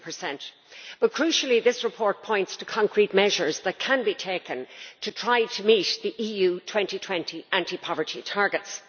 16. But crucially, the report points to concrete measures that can be taken to try to meet the EU 2020 anti poverty targets.